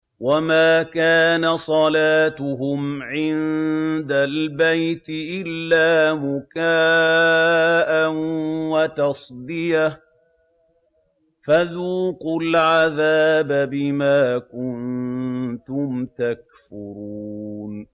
وَمَا كَانَ صَلَاتُهُمْ عِندَ الْبَيْتِ إِلَّا مُكَاءً وَتَصْدِيَةً ۚ فَذُوقُوا الْعَذَابَ بِمَا كُنتُمْ تَكْفُرُونَ